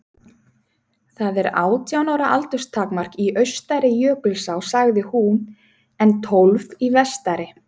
Það er átján ára aldurstakmark í austari Jökulsá, sagði hún, en tólf í vestari.